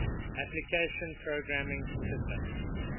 application programming interface